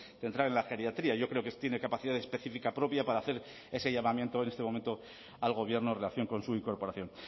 centrar en la geriatría yo creo que tiene capacidad específica propia para hacer ese llamamiento en este momento al gobierno en relación con su incorporación